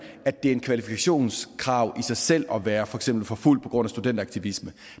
at det er et kvalifikationskrav i sig selv at være for eksempel forfulgt på grund af studenteraktivisme